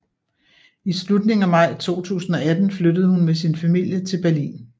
I slutningen af maj 2018 flyttede hun med sin familie til Berlin